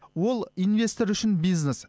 ол инвестор үшін бизнес